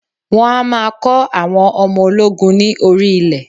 Wọn a maa kọ́ àwọn ológun ni orí ilẹ̀